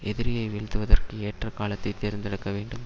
எதிரியை வீழ்த்துவதற்கு ஏற்ற காலத்தை தேர்ந்தெடுக்க வேண்டும்